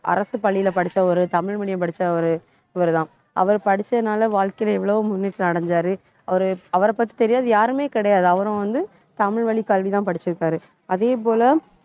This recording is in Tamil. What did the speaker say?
அரசு பள்ளியிலே படிச்ச ஒரு தமிழ் medium படிச்ச ஒரு இவருதான் அவர் படிச்சதுனால வாழ்க்கையில எவ்வளவோ முன்னேற்றம் அடைஞ்சாரு அவரு~ அவரைப் பத்தி தெரியாது யாருமே கிடையாது. அவரும் வந்து, தமிழ்வழிக் கல்விதான் படிச்சிருக்காரு அதே போல